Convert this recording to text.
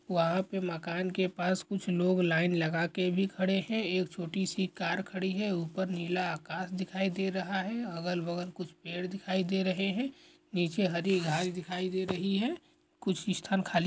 वहाँ पे मकान के पास कुछ लोग लाइन लगा के भी खड़े हैं एक छोटी सी कार खड़ी हैं ऊपर नीला आकाश दिखाई दे रहा हैं अगल-बगल कुछ पेड़ दिखाई दे रहें हैं नीचे हरी घास दिखाई दे रही हैं कुछ स्थान खाली--